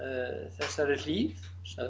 þessari hlíð